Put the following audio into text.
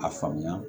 A faamuya